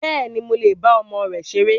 Bẹ́ẹ̀ni, mo le bá ọmọ rẹ ṣeré